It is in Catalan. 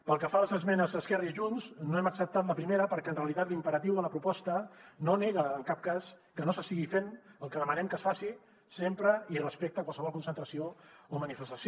pel que fa a les esmenes d’esquerra i junts no hem acceptat la primera perquè en realitat l’imperatiu de la proposta no nega en cap cas que no s’estigui fent el que demanem que es faci sempre i respecte a qualsevol concentració o manifestació